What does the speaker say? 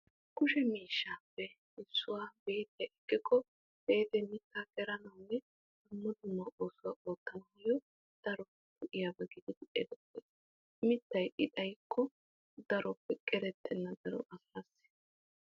Kushe miishappe issuwaa beexiyaa ekkiko , beexe mitta qeranawune dumma dumma oosuwaa oottanawunne daro go'iyaba mittay i xayikko daro qerettena daro asaasi.